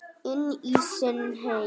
Inn í sinn heim.